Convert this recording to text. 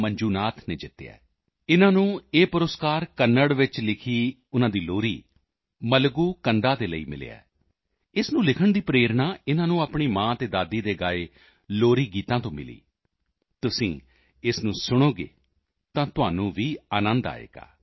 ਮੰਜੂਨਾਥ ਜੀ ਨੇ ਜਿੱਤਿਆ ਹੈ ਇਨ੍ਹਾਂ ਨੂੰ ਇਹ ਪੁਰਸਕਾਰ ਕੰਨ੍ਹੜ ਵਿੱਚ ਲਿਖੀ ਉਨ੍ਹਾਂ ਦੀ ਲੋਰੀ ਮਲਾਗੂ ਕੰਡਾ ਦੇ ਲਈ ਮਿਲਿਆ ਹੈ ਇਸ ਨੂੰ ਲਿਖਣ ਦੀ ਪ੍ਰੇਰਣਾ ਇਨ੍ਹਾਂ ਨੂੰ ਆਪਣੀ ਮਾਂ ਅਤੇ ਦਾਦੀ ਦੇ ਗਾਏ ਲੋਰੀ ਗੀਤਾਂ ਤੋਂ ਮਿਲੀ ਤੁਸੀਂ ਇਸ ਨੂੰ ਸੁਣੋਗੇ ਤਾਂ ਤੁਹਾਨੂੰ ਵੀ ਅਨੰਦ ਆਏਗਾ